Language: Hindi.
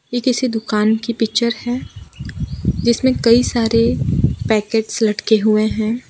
ये किसी दुकान की पिक्चर है जिसमें कई सारे पैकेट्स लटके हुए हैं।